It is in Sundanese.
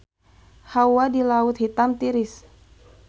Hawa di Laut Hitam tiris